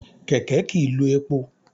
Kẹ̀kẹ́ kìí lo epo.